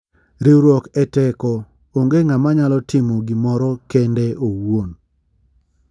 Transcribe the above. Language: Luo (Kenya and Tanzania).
Riwruok e teko ,ong'e ngama nyalo timo gimoro kendeo owuon,.